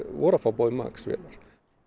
voru að fá Boeing Max vélar